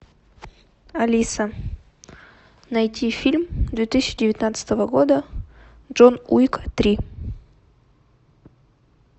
алиса найти фильм две тысячи девятнадцатого года джон уик три